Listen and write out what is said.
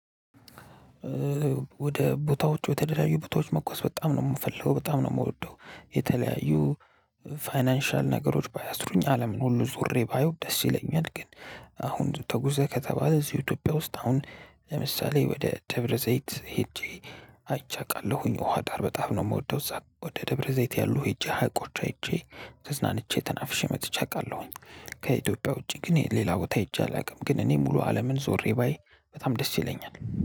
ወደ ቦታወች ወደተለያዩ ቦታወች መጓዝ በጣም ነው የምፈልገው በጣም ነው የምወደው የተለያዩ ፋይናንሻል ነገሮች ባያስሩኝ አለምን ሁሉ ዞሬ ባዩ ደስ ይለኛል። ግን አሁን ተጉዘህ ከተባለ እዚህ ኢትዮጵያ ውስጥ አሁን ለምሳሌ ወደ ደብረ ዘይት ሄጄ አይቼ አቃለሁኝ ውሃ ዳር በጣም ነው የምወደው እዛ ወደ ደብረ ዘይት ያሉ ሄጄ ሀይቆች አይቼ ተዝናንቼ ተናፍሼ መጥቼ አውቃለሁኝ። ከኢትዮጵያ ውጪ ግን ሌላ ቦታ ሄጄ አላውቅም። ግን እኔ ሙሉ አለምን ዞሬ ባይ በጣም ደስ ይለኛል